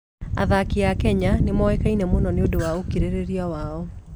Athaki a Kenya nĩ moĩkaine mũno nĩ ũndũ wa ũkirĩrĩria wao.